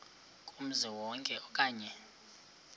kumzi wonke okanye